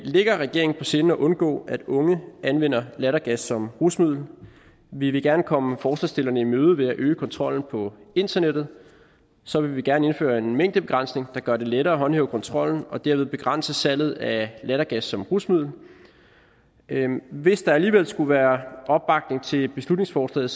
ligger regeringen på sinde at undgå at unge anvender lattergas som rusmiddel vi vil gerne komme forslagsstillerne i møde ved at øge kontrollen på internettet så vil vi gerne indføre en mængdebegrænsning der gør det lettere at håndhæve kontrollen og derved begrænse salget af lattergas som rusmiddel hvis der alligevel skulle være opbakning til beslutningsforslaget